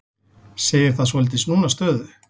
Segir það svolítið snúna stöðu